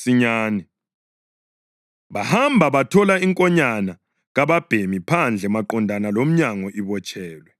Bahamba bathola inkonyane kababhemi phandle maqondana lomnyango ibotshelwe. Bayikhulula,